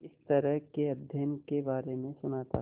इस तरह के अध्ययन के बारे में सुना था